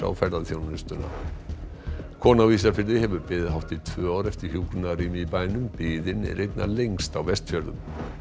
ferðaþjónustuna kona á Ísafirði hefur beðið hátt í tvö ár eftir hjúkrunarrými í bænum biðin er einna lengst á Vestfjörðum